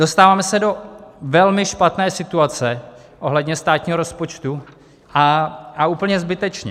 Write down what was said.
Dostáváme se do velmi špatné situace ohledně státního rozpočtu, a úplně zbytečně.